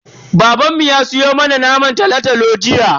Babanmu ya siyo mana naman tolo-tolo jiya.